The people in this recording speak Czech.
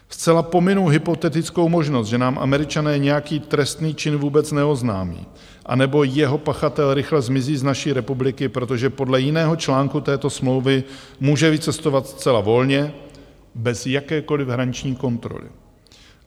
Zcela pominu hypotetickou možnost, že nám Američané nějaký trestný čin vůbec neoznámí, anebo jeho pachatel rychle zmizí z naší republiky, protože podle jiného článku této smlouvy může vycestovat zcela volně, bez jakékoliv hraniční kontroly.